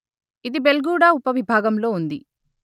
ఇది బెల్గుడా ఉపవిభాగంలో ఉంది